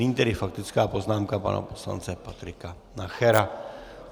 Nyní tedy faktická poznámka pana poslance Patrika Nachera.